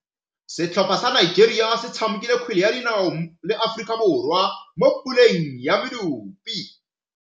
Setlhopha sa Nigeria se tshamekile kgwele ya dinaô le Aforika Borwa mo puleng ya medupe.